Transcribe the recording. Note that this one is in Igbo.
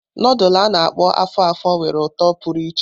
Nudulu a-na akpo afo-afo nwere uto pụrụ iche.